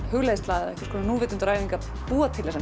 hugleiðsla eða nútvitundaræfing að búa til þessar